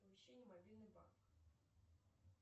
оповещение мобильный банк